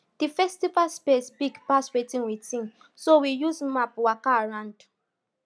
di festival space big pass wetin we think so we use map waka around